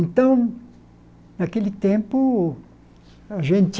Então, naquele tempo, a gente...